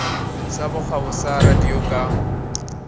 sa bokgabo sa radio ka